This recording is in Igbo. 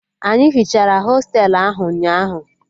Anyị hichara hostelu ahụ ụnyaahụ